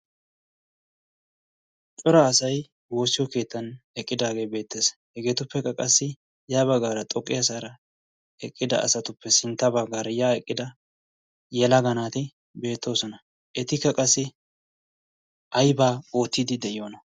cora asay woossiyo keettan eqqidaagee beettees hegeetuppekka qassi yaa baggaara xoqqi haasaara eqqida asatuppe sintta baggaara yaa eqqida yela ganaati beettoosona. etikka qassi aibaa oottiidi de'iyoona?